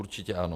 Určitě ano.